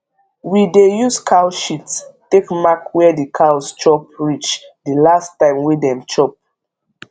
we dey use cow shit take mark where the cows chop reach the last time wey dem chop